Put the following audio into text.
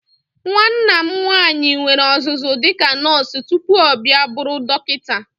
Nwanna m nwaanyị nwere ọzụzụ dịka nọọsụ tupu ọ bịa bụrụ dọkịta.